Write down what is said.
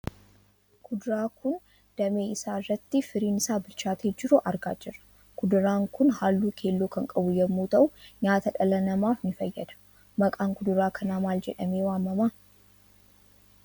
Kuduraa kun damee isaa irratti firiin isaa bilchaatee jiru argaa jirra. Kuduraan kun halluu keelloo kan qabu yammuu ta'uu nyaata dhala namaaf ni fayyada. Maqaan kuduraa kanaa maal jedhamee waamama?